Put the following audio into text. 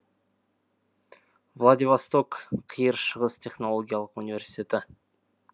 владивосток қиыр шығыс технологиялық университеті